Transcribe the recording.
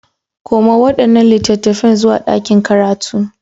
Koma waɗannan littattafan zuwa ɗakin karatu.